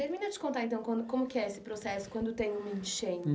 E termina de contar, então, como que é esse processo quando tem um enchante?